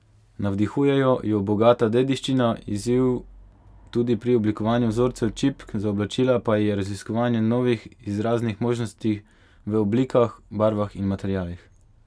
Navdihuje jo bogata dediščina, izziv tudi pri oblikovanju vzorcev čipk za oblačila pa ji je raziskovanje novih izraznih možnosti v oblikah, barvah in materialih.